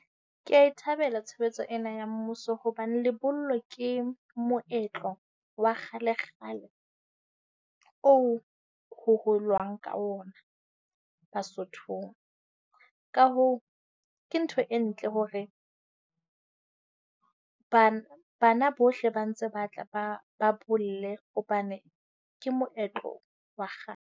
Kea e thabela tshebetso ena ya mmuso hobane lebollo ke moetlo wa kgalekgale oo ho holwang ka ona Basothong. Ka hoo, ke ntho e ntle hore bana bohle ba ntse ba tla ba ba bolle hobane ke moetlo wa .